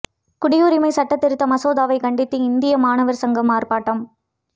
குடியுரிமை சட்டத் திருத்த மசோதாவை கண்டித்து இந்திய மாணவா் சங்கம் ஆா்ப்பாட்டம்